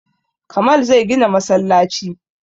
Kamal zai gina masallaci